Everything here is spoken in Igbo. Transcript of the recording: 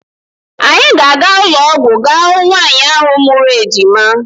Anyị ga-aga ụlọọgwụ ga hụ nwaanyị ahụ mụrụ ejima.